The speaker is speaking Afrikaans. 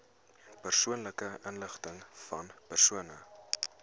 persoonlike inligtingvan persone